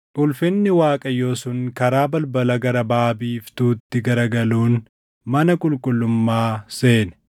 Ulfinni Waaqayyoo sun karaa balbala gara baʼa biiftuutti garagaluun mana qulqullummaa seene.